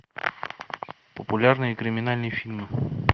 популярные криминальные фильмы